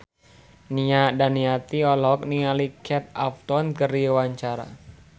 Nia Daniati olohok ningali Kate Upton keur diwawancara